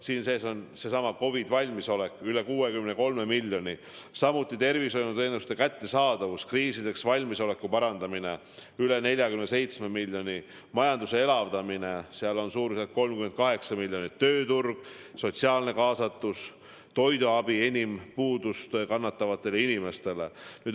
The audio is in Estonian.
Siin sees on COVID-valmisolek – üle 63 miljoni, samuti tervishoiuteenuste kättesaadavuse parandamine, kriisideks valmisoleku parandamine – üle 47 miljoni, majanduse elavdamine – suurusjärgus 38 miljonit, lisaks tööturg, sotsiaalne kaasatus, toiduabi enim puudust kannatavatele inimestele.